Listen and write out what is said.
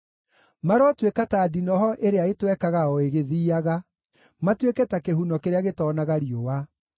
Marotuĩka ta ndinoho ĩrĩa ĩtwekaga o ĩgĩthiiaga, matuĩke ta kĩhuno kĩrĩa gĩtoonaga riũa.